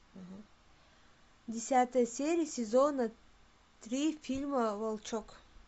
десятая серия сезона три фильма волчок